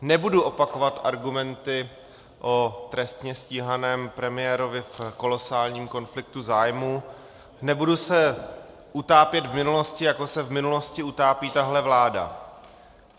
Nebudu opakovat argumenty o trestně stíhaném premiérovi v kolosálním konfliktu zájmu, nebudu se utápět v minulosti, jako se v minulosti utápí tahle vláda.